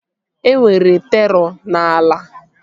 E nwere terọ n'ala